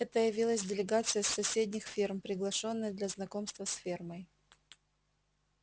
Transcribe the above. это явилась делегация с соседних ферм приглашённая для знакомства с фермой